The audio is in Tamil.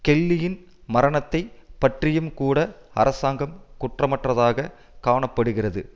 கெல்லியின் மரணத்தை பற்றியும்கூட அரசாங்கம் குற்றமற்றதாக காண படுகிறது